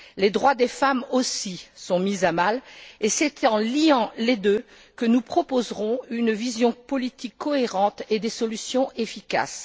Les droits des femmes, aussi, sont mis à mal et c'est en liant les deux que nous proposerons une vision politique cohérente et des solutions efficaces.